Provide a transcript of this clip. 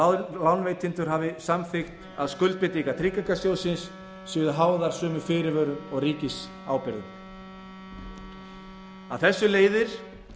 að lánveitendur hafi samþykkt að skuldbindingar tryggingarsjóðsins séu háðar sömu fyrirvörum og ríkisábyrgðin af þessu leiðir